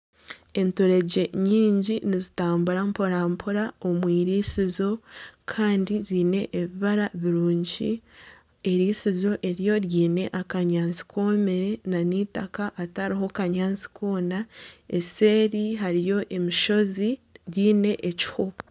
Enturegye nyingi nizitambura mpora mpora omu eirisizo kandi ziine ebibara birungi. Eirisizo eryo riine akanyaatsi koomire nana eitaka ritariho akanyaatsi koona. Eseeri hariyo emishozi riine ekiho.